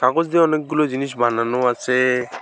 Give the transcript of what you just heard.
কাগজ দিয়ে অনেকগুলো জিনিস বানানো আছে।